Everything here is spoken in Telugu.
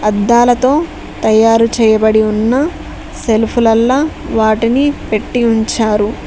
అద్దాలతో తయారు చేయబడి ఉన్న సెల్ఫ్ లల్లా వాటిని పెట్టి ఉంచారు.